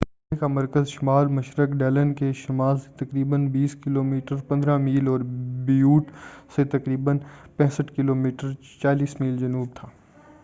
زلزلے کا مرکز شمال مشرق ڈلن کے شمال سے تقریباً 20 کلو میٹر 15 میل، اور بیوٹ سے تقریباً 65 کلو میٹر 40 میل جنوب تھا۔